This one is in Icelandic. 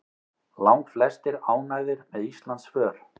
Langflestir ánægðir með Íslandsför